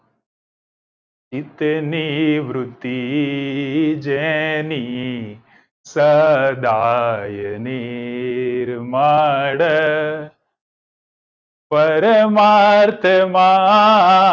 ઇતની વૃદ્ધિ જેની સદા યની મળે પરમાત્મા